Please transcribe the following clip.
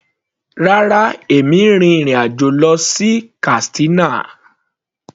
Rárá, èmi n rin ìrìn àjò lọ sí Katsina.